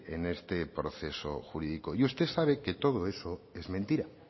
en este proceso jurídico y usted sabe que todo eso es mentira